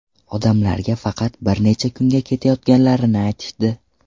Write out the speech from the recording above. Odamlarga faqat bir necha kunga ketayotganlarini aytishdi.